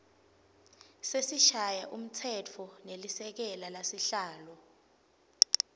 sesishayamtsetfo nelisekela lasihlalo